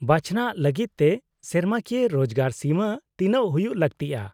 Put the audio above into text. -ᱵᱟᱪᱷᱱᱟᱜ ᱞᱟᱹᱜᱤᱫ ᱛᱮ ᱥᱮᱨᱢᱟᱠᱤᱭᱟᱹ ᱨᱳᱡᱜᱟᱨ ᱥᱤᱢᱟᱹ ᱛᱤᱱᱟᱹᱜ ᱦᱩᱭᱩᱜ ᱞᱟᱹᱠᱛᱤᱜᱼᱟ ?